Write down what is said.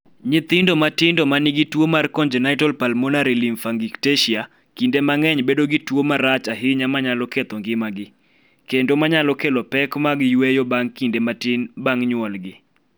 Nyithindo matindo ma nigi tuo mar congenital pulmonary lymphangiectasia, kinde mang�eny bedo gi tuo marach ahinya ma nyalo ketho ngimagi, kendo ma nyalo kelo pek mag yweyo bang� kinde matin bang� nyuolgi.